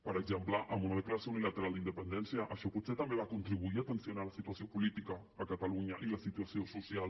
per exemple amb una declaració unilateral d’independència això potser també va contribuir a tensionar la situació política a catalunya i la situació social